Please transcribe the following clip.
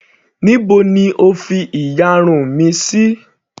Níbo ni O fi ìyarun mi sí.